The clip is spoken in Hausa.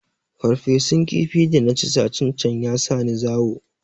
Farfesun kifi da na ci satin can ya sa ni zawo